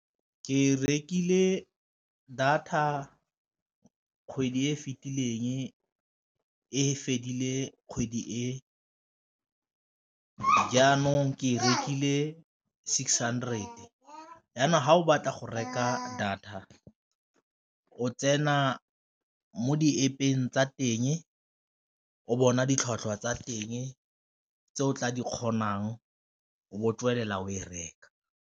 Ke rekile data kgwedi e fitileng e fedile kgwedi e, jaanong ke e rekile six hundred. Jaanong fa o batla go reka data o tsena mo di-App-eng tsa teng o bona ditlhwatlhwa tsa teng tse o tla di kgonang o bo tswelela o e reka.